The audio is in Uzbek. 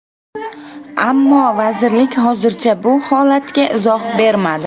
Ammo vazirlik hozircha bu holatga izoh bermadi.